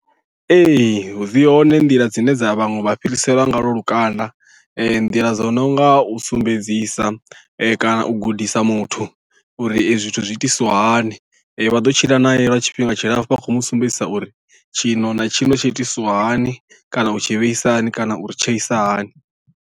Ee dzi hone nḓila dzine dza vhaṅwe vha fhiriselwa nga lwo lukanda nḓila dzo no nga u sumbedzisa kana u gudisa muthu uri ezwi zwithu zwiitisiwahani vha ḓo tshila nae lwa tshifhinga tshilapfhu vha khou mu sumbedzisa uri tshino na tshino tshi itisiwa hani kana u tshi vheisa hani kana u ri tsheisa hani.